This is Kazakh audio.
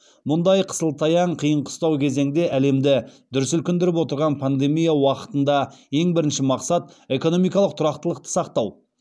мұндай қысыл таяң қиын қыстау кезеңде әлемді дүр сілкіндіріп отырған пандемия уақытында ең бірінші мақсат экономикалық тұрақтылықты сақтау